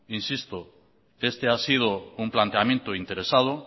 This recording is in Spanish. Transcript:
insisto este ha sido un planteamiento interesado